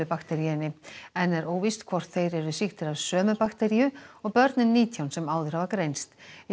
bakteríunni enn er óvíst hvort þeir eru af sömu bakteríu og börnin nítján sem áður hafa greinst í